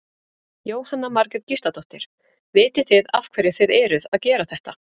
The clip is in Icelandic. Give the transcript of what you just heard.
Jóhanna Margrét Gísladóttir: Vitið þið af hverju þið eruð að gera þetta?